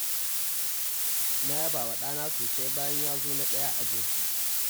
Na yaba wa ɗana sosai bayan ya zo na ɗaya a ajinsu.